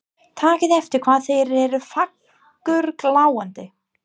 Takið eftir hvað þeir eru fagurgljáandi.